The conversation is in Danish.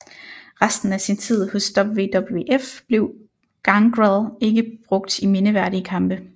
Resten af sin tid hos WWF blev Gangrel ikke brugt i mindeværdige kampe